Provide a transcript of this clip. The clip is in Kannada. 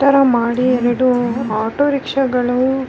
ಈ ತರ ಮಾಡಿ ಆಟೋ ರಿಕ್ಷಗಳು .